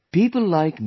People like Ms